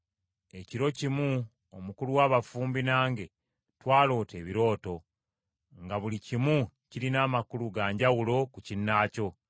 ekiro kimu omukulu wa bafumbi nange twaloota ebirooto, nga buli kimu kirina amakulu ga njawulo ku kinnaakyo.